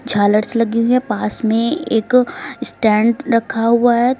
झालर्स लगी हुई हैं पास में एक स्टैंड रखा हुआ है।